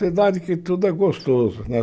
Cidade que tudo é gostoso, né?